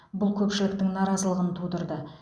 бұл көпшіліктің наразылығын тудырды